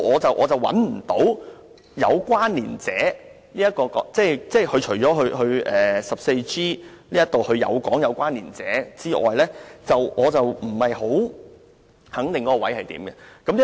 就此我找不到"有關連者"的確切意思，除了第 14G 條略有說明之外，我不肯定其定義為何。